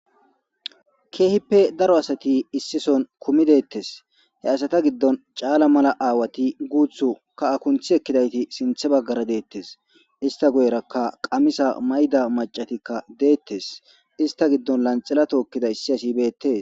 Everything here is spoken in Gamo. Kehippe daro asati issi sohon kehipp daridi detes.asata gidon cala mala asati detes gutiyo kaha kunti ekida asati sinta bagara detes.ista guyeraka qamisa mayiza assatikavdetes. Ista gidon lanxila tokizaysatika detes.